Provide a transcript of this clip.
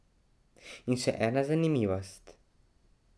In še ena zanimivost.